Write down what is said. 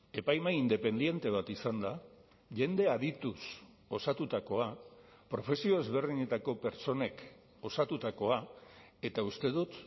epaimahai independente bat izan da jende adituz osatutakoa profesio ezberdinetako pertsonek osatutakoa eta uste dut